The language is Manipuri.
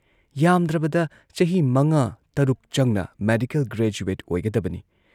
ꯌꯥꯥꯝꯗ꯭ꯔꯕꯗ ꯆꯍꯤ ꯃꯉꯥ ꯇꯔꯨꯛ ꯆꯪꯅ ꯃꯦꯗꯤꯀꯦꯜ ꯒ꯭ꯔꯦꯖꯨꯋꯦꯠ ꯑꯣꯏꯒꯗꯕꯅꯤ ꯫